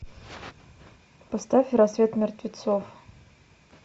поставь рассвет мертвецов